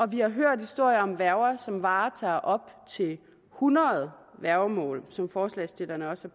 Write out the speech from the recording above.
vi har hørt historier om værger som varetager op til hundrede værgemål som forslagsstillerne også